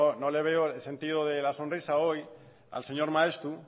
no le veo el sentido de la sonrisa hoy al señor maeztu